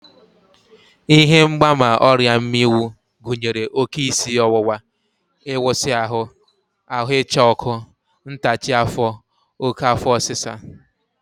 Ihe mgbaàmà ọrịa mmịnwụ gụnyere oké isi ọwụwa, ịwụsị ahụ, ahụ ịcha ọkụ, ntachi afọ, oké afọ ọsịsa